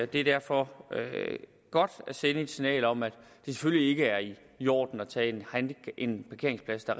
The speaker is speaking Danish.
det er derfor godt at sende et signal om at det selvfølgelig ikke er i i orden at tage en parkeringsplads der